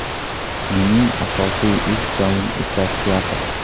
Mening asosiy ish joyim esa teatr.